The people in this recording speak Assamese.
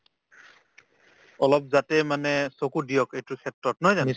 অলপ যাতে মানে চকু দিয়ক এইটো ক্ষেত্ৰত নহয় জানো